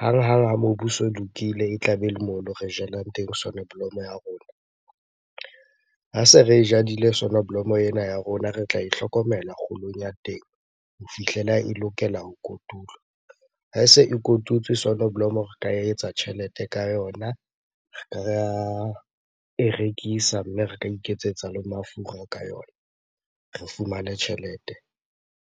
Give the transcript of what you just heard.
Hanghang ha mobu o so lokile e tlabe le mono re jalang teng soneblomo ya rona. Ha se re jadile soneblomo ena ya rona, re tla e hlokomela kgolong ya teng ho fihlela e lokela ho kotulwa. Ha e se e kotutswe soneblomo re ka etsa tjhelete ka yona, ra e rekisa. Mme re ka iketsetsa le mafura ka yona, re fumane tjhelete.